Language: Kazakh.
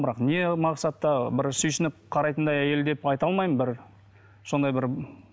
бірақ не мақсатта бір сүйсініп қарайтындай әйел деп айта алмаймын бір сондай бір